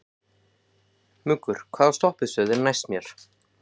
Muggur, hvaða stoppistöð er næst mér?